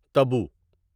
تبو